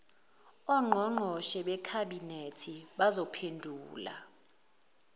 ongqongqoshe bekhabhinethi bazophendula